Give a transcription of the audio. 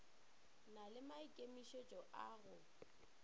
na le maikemišetšo a go